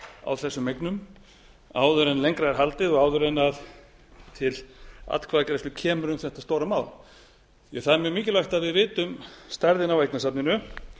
á þessum eignum áður en lengra er haldið og áður en til atkvæðagreiðslu kemur um þetta stóra mál það er mjög mikilvægt að við vitum stærðina á eignasafninu